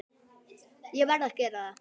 Ég varð að gera það.